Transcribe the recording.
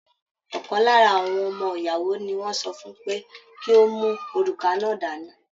Ọkan lára àwọn ọmọ ìyàwó ní wọn sọ fún pé kí o mú òrùka náà dání.